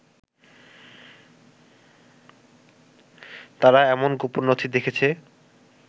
তারা এমন গোপন নথি দেখেছে